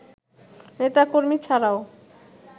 নেতা-কর্মী ছাড়াও